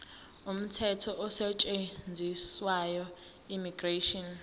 umthetho osetshenziswayo immigration